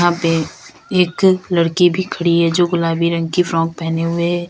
यहां पे एक लड़की भी खड़ी है जो गुलाबी रंग की फ्रॉक पहने हुए है।